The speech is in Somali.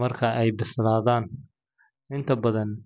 marka ay bislaadaan. Inta badan.